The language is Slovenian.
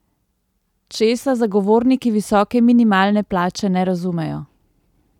Česa zagovorniki visoke minimalne plače ne razumejo?